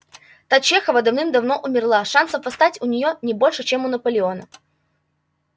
та чехова давным-давно умерла шансов восстать у неё не больше чем у наполеона